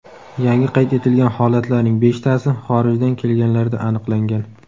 Yangi qayd etilgan holatlarning beshtasi xorijdan kelganlarda aniqlangan.